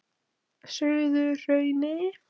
Suðurhrauni